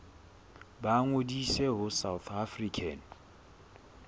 ba ngodise ho south african